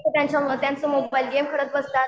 त्यांचा मग गेम खेळत बसतात.